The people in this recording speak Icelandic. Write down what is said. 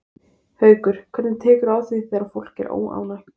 Haukur: Hvernig tekurðu á því þegar fólk er óánægt?